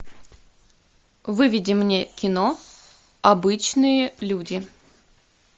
выведи мне кино обычные люди